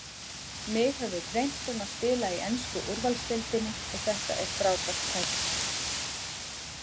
Mig hefur dreymt um að spila í ensku úrvaldsdeildinni og þetta er frábært tækifæri.